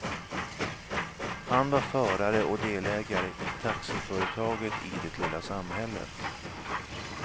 Han var förare och delägare i taxiföretaget i det lilla samhället.